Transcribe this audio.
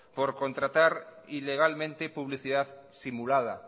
por contratar ilegalmente publicidad simulada